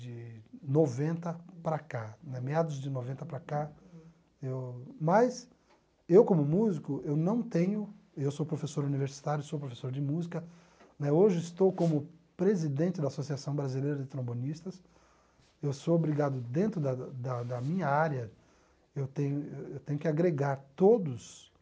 de noventa para cá, né meados de noventa para cá, eu mas eu como músico, eu não tenho, eu sou professor universitário, sou professor de música, né, hoje estou como presidente da Associação Brasileira de Trombonistas, eu sou obrigado dentro da da da minha área, eu tenho eu tenho que agregar todos